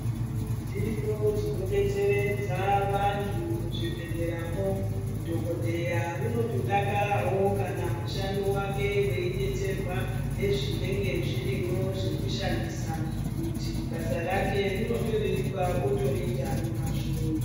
Zviriyo zvimodetseredza vantu muzvibhehleramwo. Dhokodheya unotodakarawo kana mushando wake weidetserwa nezvinenge zvirimwo zvinoshandiswa kuti basa rake rinotoreruka otoriita nemazvo.